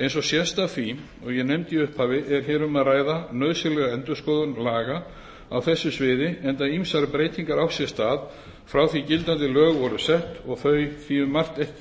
eins og sést af því og ég nefndi í upphafi er hér um að ræða nauðsynlega endurskoðun laga á þessu sviði enda ýmsar breytingar átt sér stað frá því gildandi lög voru sett og þau því um margt ekki í